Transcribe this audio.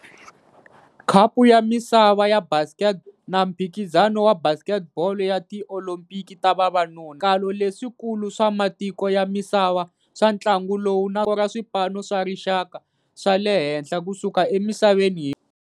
Khapu ya Misava ya Basketball na Mphikizano wa Basketball ya Tiolimpiki ta Vavanuna i swiendlakalo leswikulu swa matiko ya misava swa ntlangu lowu naswona swi koka rinoko ra swipano swa rixaka swa le henhla ku suka emisaveni hinkwayo.